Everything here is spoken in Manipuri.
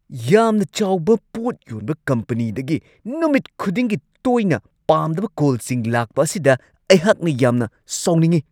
ꯌꯥꯝꯅ ꯆꯥꯎꯕ ꯄꯣꯠ ꯌꯣꯟꯕ ꯀꯝꯄꯅꯤꯗꯒꯤ ꯅꯨꯃꯤꯠ ꯈꯨꯗꯤꯡꯒꯤ ꯇꯣꯏꯅ ꯄꯥꯝꯗꯕ ꯀꯣꯜꯁꯤꯡ ꯂꯥꯛꯄ ꯑꯁꯤꯗ ꯑꯩꯍꯥꯛꯅ ꯌꯥꯝꯅ ꯁꯥꯎꯅꯤꯡꯉꯤ ꯫